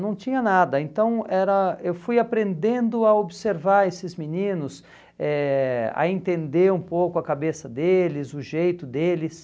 Não tinha nada, então era eu fui aprendendo a observar esses meninos, eh a entender um pouco a cabeça deles, o jeito deles.